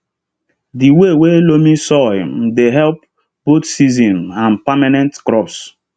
the way wey loamy soil um dey help both season um and permanent crops